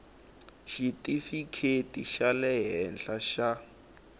xitifikheti xa le henhla xa